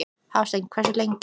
Hafsteinn: Hversu lengi?